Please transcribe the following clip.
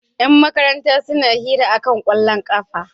Yan makaranta suna hira kan kwallon ƙafa.